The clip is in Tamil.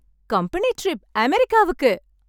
கம்பனி ட்ரிப், அமெரிக்காவுக்கு!